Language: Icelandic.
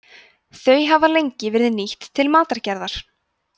þau hafa lengi verið nýtt til matargerðar